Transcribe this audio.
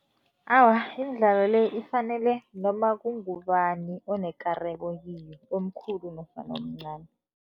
Awa, imidlalo le ifanele noma kungubani onekareko kiyo, omkhulu nofana omncani.